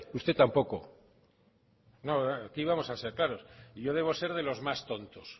usted tampoco no aquí vamos a ser claros y yo debo ser de los más tontos